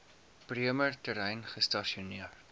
bremer terrein gestasioneer